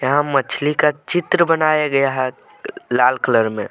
यहाँ मछली का चित्र बनाया गया है लाल कलर में।